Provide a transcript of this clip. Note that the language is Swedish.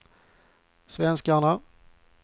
svenskarna